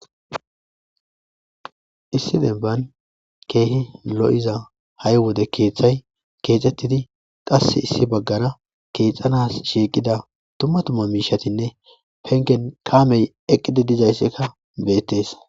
issi demban keehi lo'iza hay wode keeththay keexettidi qasse issi baggara keexxanas shiiqida dumma dumma miishatinne pengen kaamey eqqidi dizayssikka beettes